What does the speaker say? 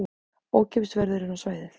Ókeypis verður inn á svæðið